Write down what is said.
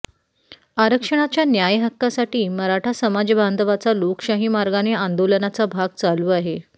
आरक्षणाच्या न्याय हक्कासाठी मराठा समाजबांधवांचा लोकशाहीमार्गाने आंदोलनाचा भाग चालू आहे